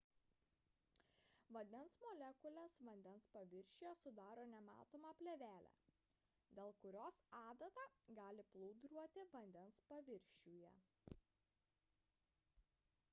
vandens molekulės vandens paviršiuje sudaro nematomą plėvelę dėl kurios adata gali plūduriuoti vandens paviršiuje